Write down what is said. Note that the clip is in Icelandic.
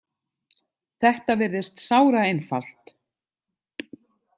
Þetta virðist sáraeinfalt.